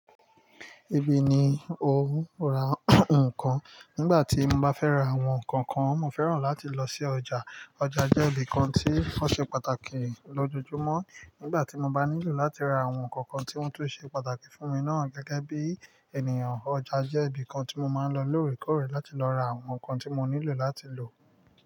Ibiyi ni o n ra nkán. Nígbàtí mo bá fẹ́ ra àwọn ǹkan kan, mo fẹ́ràn láti lọ sí ọjà. Ọjà jẹ́ ìbì kan tí o ṣe pàtàkì lójoojúmọ́. Nígbàtí mo bá nílò láti ra àwọn ǹkan kan tí wọn tun ṣe pàtàkì fún mi náà gẹ́gẹ́ bí ènìyàn, ọjà jẹ́ ibì kan tí mo máa ń lọ lóòrèkóòrè láti lọ ra àwọn ǹkan tí mo nílò láti lò.